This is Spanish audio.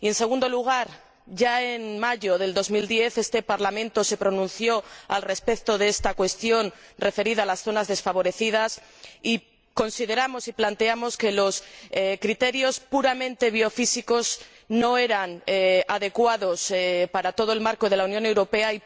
Y, en segundo lugar, ya en mayo de 2010 este Parlamento se pronunció sobre esta cuestión de las zonas desfavorecidas, y consideramos y planteamos entonces que los criterios puramente biofísicos no eran adecuados para todo el marco de la Unión Europea.